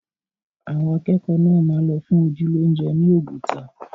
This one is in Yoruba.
Àwọn akẹ́kọ̀ọ́ náà máa lọ fún ojú lóúnjẹ ni Oguta